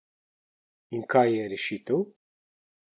In kaj je rešitev?